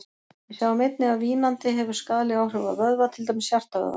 Við sjáum einnig að vínandi hefur skaðleg áhrif á vöðva, til dæmis hjartavöðvann.